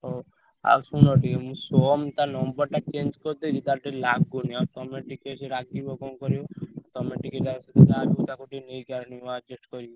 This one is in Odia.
ହଉ ଆଉ ଶୁଣ ଟିକେ ମୁଁ ସୋମ ତା number ଟା change କରିଥିଲି ତାର ଟିକେ ଲାଗୁନି ଆଉ ତମେ ଟିକେ ସେ ରାଗିବ କଣ କରିବ? ତମେ ଟିକେ ଯାହାବି ହଉ ତାକୁ ଟିକେ ନେଇଯାଅନି adjust କରିକି।